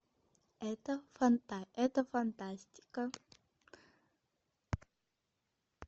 это фантастика